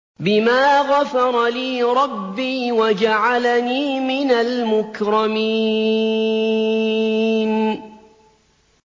بِمَا غَفَرَ لِي رَبِّي وَجَعَلَنِي مِنَ الْمُكْرَمِينَ